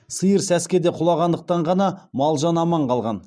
сиыр сәскеде құлағандықтан ғана мал жан аман қалған